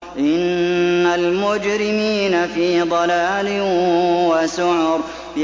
إِنَّ الْمُجْرِمِينَ فِي ضَلَالٍ وَسُعُرٍ